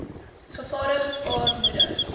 gevare gevaar moedig